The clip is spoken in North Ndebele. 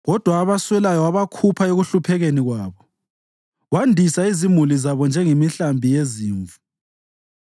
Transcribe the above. Kodwa abaswelayo wabakhupha ekuhluphekeni kwabo wandisa izimuli zabo njengemihlambi yezimvu.